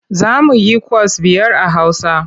Za mu yikwas biyar a Hausa.